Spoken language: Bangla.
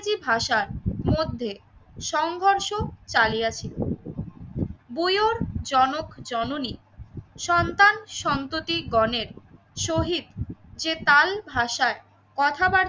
ভাষার মধ্যে সংঘর্ষ চালিয়ে ছিল। বইয়োর জনক জননী সন্তান, সম্প্রতি গণের শহীদ যে তাল ভাষায় কথাবার তি